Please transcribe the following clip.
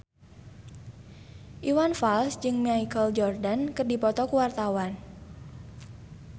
Iwan Fals jeung Michael Jordan keur dipoto ku wartawan